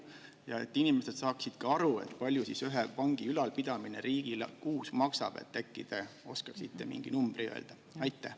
Ja et inimesed saaksid aru, palju ühe vangi ülalpidamine riigile kuus maksab, siis äkki te oskaksite mingi numbri öelda?